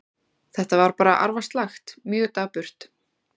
Þetta var bara arfaslakt, mjög dapurt.